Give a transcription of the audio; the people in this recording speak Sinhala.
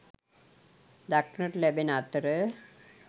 දක්නට ලැබෙන අතර